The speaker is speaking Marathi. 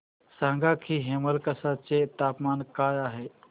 सांगा की हेमलकसा चे तापमान काय आहे